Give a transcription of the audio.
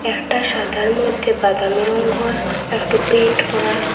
একটা সাদার মইধ্যে বাদামি রঙ্গর একটু পেইন্ট করা।